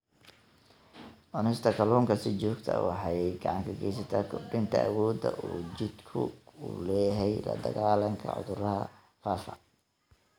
Cunista kalluunka si joogto ah waxay gacan ka geysataa kordhinta awoodda uu jidhku u leeyahay la-dagaallanka cudurrada faafa.